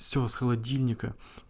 все с холодильника